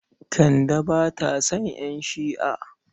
Kande ba ta son ƴan Shi'a.